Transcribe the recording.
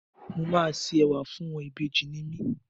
Mo máa ṣe Ẹ̀wà fún ẹ, ìbejì ni mí.